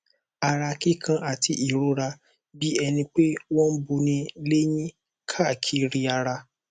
ara kíkan àti ìrora bí ẹni pé wọn ń buni léyín káàkiri ara